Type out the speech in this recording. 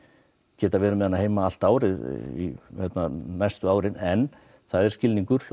geta verið með hana heima allt árið næstu árin en það er skilningur hjá